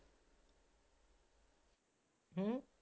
ਹਮ